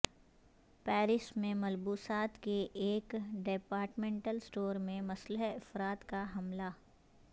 Paris میں ملبوسات کے ایک ڈیپارٹمینٹل سٹور میں مسلح افراد کا حملہ